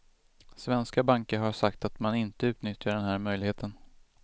Svenska banker har sagt att man inte utnyttjar den här möjligheten.